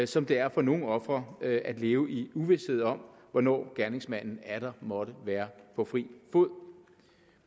som det er for nogle ofre at at leve i uvished om hvornår gerningsmanden atter måtte være på fri fod